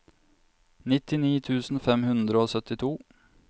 nittini tusen fem hundre og syttito